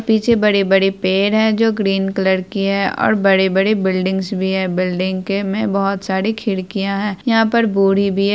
पीछे बड़े-बड़े पेड़ है जो ग्रीन कलर कि है और बड़े-बड़े बिल्डिंगस भी है बिल्डिंग के में बहुत सारी खिड़किया है। यहाँ पर बोरी भी है।